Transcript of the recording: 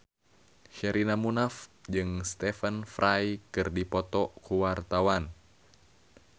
Sherina Munaf jeung Stephen Fry keur dipoto ku wartawan